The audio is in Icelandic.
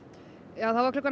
já klukkan